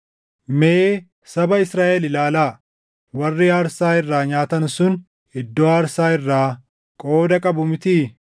Mee saba Israaʼel ilaalaa: Warri aarsaa irraa nyaatan sun iddoo aarsaa irraa qooda qabu mitii?